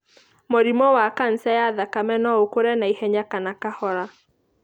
Mũrimũ wa kanca ya thakame no ũkũre naihenya kana kahora.